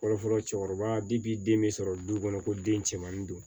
Fɔlɔfɔlɔ cɛkɔrɔba bi bi den be sɔrɔ du kɔnɔ ko den cɛmannin don